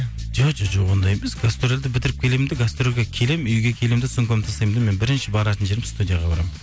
жоқ ондай емес гастрольді бітіріп келемін де гастрольге келемін үйге келемін де сумкамды тастаймын да менің бірінші баратын жерім студияға барамын